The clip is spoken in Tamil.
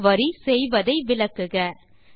இந்த குரி செய்வதை விளக்குக